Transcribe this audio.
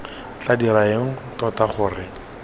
tla dira eng tota gore